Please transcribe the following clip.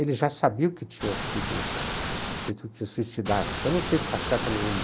Ele já sabia que tinha sido, o Getúlio tinha se suicidado, então não teve passeata nenhuma.